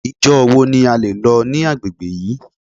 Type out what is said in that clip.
Ìjọ wo ni a lè lọ ní agbègbè yìí.